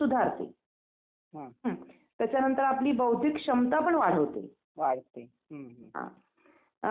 काय नाही असं अ हे बघा तुम्हाला काही बघायला भेटलं खायला भेटेल दर्शन करायला भेटेल